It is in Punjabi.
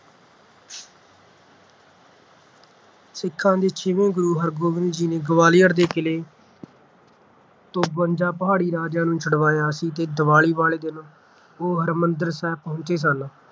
ਸਿੱਖਾਂ ਦੇ ਛੇਵੇਂ ਗੁਰੂ ਹਰਿਗੋਬਿੰਦ ਜੀ ਨੇ ਗਵਾਲੀਅਰ ਦੇ ਕਿਲ੍ਹੇ ਤੋਂ ਬਵੰਜਾ ਪਹਾੜੀ ਰਾਜਿਆਂ ਨੂੰ ਛਡਾਇਆ ਸੀ ਤੇ ਦੀਵਾਲੀ ਵਾਲੇ ਦਿਨ ਉਹ ਹਰਿਮੰਦਰ ਸਾਹਿਬ ਪਹੁੰਚੇ ਸਨ।